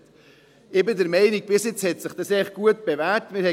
Ich bin der Meinung, dass sich das Bisherige eigentlich gut bewährt hat.